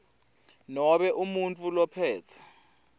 nobe umuntfu lophetse